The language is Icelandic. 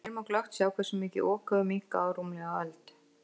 Hér má glöggt sjá hversu mikið Ok hefur minnkað á rúmlega öld.